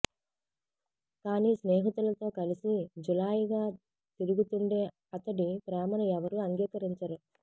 కానీ స్నేహితులతో కలిసి జులాయిగా తిరుగుతుండే అతడి ప్రేమను ఎవరూ అంగీకరించరు